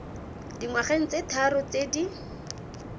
dingwageng tse tharo tse di